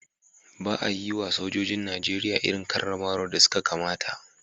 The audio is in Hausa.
Ba a yiwa sojojin Najeriya irin karramawar da suka kamata